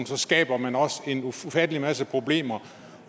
så skaber man også en ufattelig masse problemer